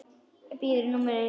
Biður um einu númeri stærra.